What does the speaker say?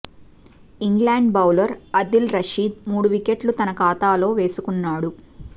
England bowler Adil Rashid మూడు వికెట్లు తన ఖాతాలో వేసుకున్నాడు